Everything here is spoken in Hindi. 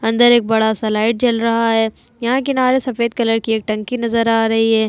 अंदर एक बड़ा सा लाइट जल रहा है यहाँ किनारे सफ़ेद कलर की एक टंकी नजर आ रही है।